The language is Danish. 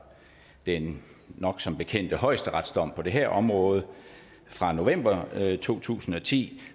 den nok så bekendte højesteretsdom på det her område fra november to tusind og ti